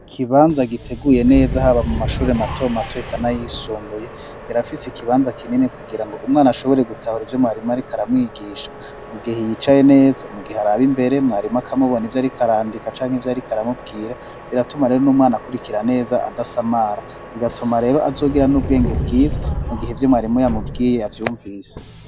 Ikibanza giteguye neza haba mu mashuri mato mato ikana yisumbuye birafise ikibanza kinini kugira ngo umwana ashobore gutahura ivyo mwarima rikaramwigisha mu gihe yicaye neza mu gihe araba imbere mwarima kamubona ivyo arikarandika canke ivyo arikaramubwira biratuma rero n'umwana akurikira neza adasamara bigatuma rero azogira n'ubwenge bwiza mu gihe ivyo mwarimu yamubwiye avyumvise.